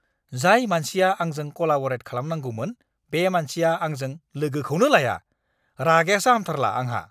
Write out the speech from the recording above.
जाय मानसिया आंजों कलाब'रेट खालामनांगौमोन, बे मानसिया आंजों लोगोखौनो लाया, रागायासो हामथारला आंहा!